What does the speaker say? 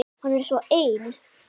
Hann er svo ein